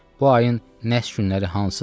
Bu ayın nəhs günləri hansıdır?